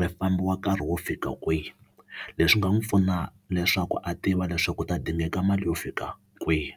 ri fambiwa nkarhi wo fika kwihi leswi nga n'wi pfuna leswaku a tiva leswaku u ta dingaka mali yo fika kwihi.